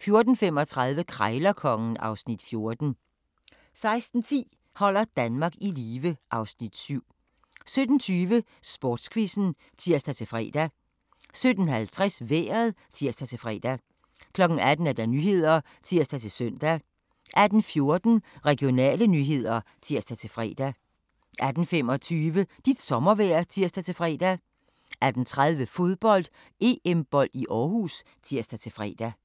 14:35: Krejlerkongen (Afs. 14) 16:10: Holder Danmark i live (Afs. 7) 17:20: Sportsquizzen (tir-fre) 17:50: Vejret (tir-fre) 18:00: Nyhederne (tir-søn) 18:14: Regionale nyheder (tir-fre) 18:25: Dit sommervejr (tir-fre) 18:30: Fodbold: EM-bold i Aarhus (tir-fre)